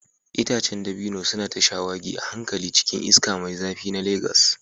Itacen dabino suna ta shawagi a hankali cikin iska mai zafi na Legas.